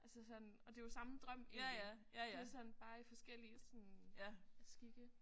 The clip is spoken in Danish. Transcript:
Altså sådan og det er jo samme drøm egentlig det sådan bare i forskellige sådan skikke